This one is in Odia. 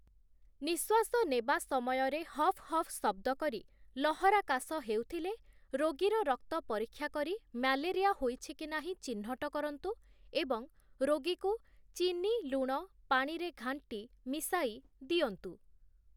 ନିଶ୍ୱାସ ନେବା ସମୟରେ ହଫ୍‌ ହଫ୍‌ ଶବ୍ଦକରି ଲହରା କାଶ ହେଉଥିଲେ, ରୋଗୀର ରକ୍ତ ପରୀକ୍ଷା କରି ମ୍ୟାଲେରିଆ ହୋଇଛି କି ନାହିଁ ଚିହ୍ନଟ କରନ୍ତୁ ଏବଂ ରୋଗୀକୁ ଚିନି, ଲୁଣ ପାଣିରେ ଘାଣ୍ଟି ମିଶାଇ ଦିଅନ୍ତୁ ।